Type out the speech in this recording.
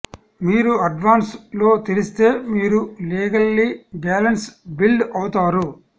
మీరు అడ్వాన్స్ లో తెలిస్తే మీరు లీగల్లీ బ్యాలెన్స్ బిల్డ్ అవుతారు